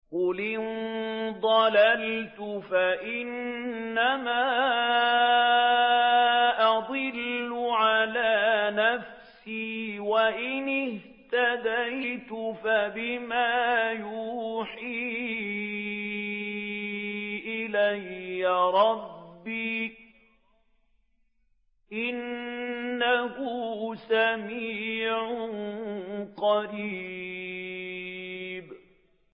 قُلْ إِن ضَلَلْتُ فَإِنَّمَا أَضِلُّ عَلَىٰ نَفْسِي ۖ وَإِنِ اهْتَدَيْتُ فَبِمَا يُوحِي إِلَيَّ رَبِّي ۚ إِنَّهُ سَمِيعٌ قَرِيبٌ